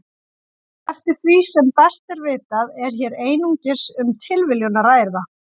Eftir því sem best er vitað er hér einungis um tilviljun að ræða.